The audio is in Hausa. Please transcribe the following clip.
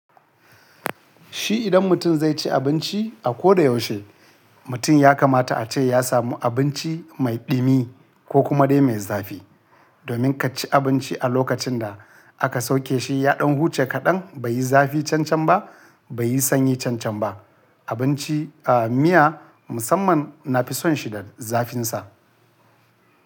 Shi idan mutum zai ci abinci a ko da yaushe, mutum ya kamata a ce ya samu abinci mai ɗumi ko kuma dai mai zafi. Domin ka ci abinci a lokacin da aka sauke shi ya ɗan huce kaɗan bai yi zafi cancan ba bai yi sanyi cancan ba. Abinci, a miya musamman na fi son shi da zafinsa.